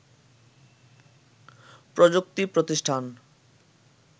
প্রযুক্তি প্রতিষ্ঠান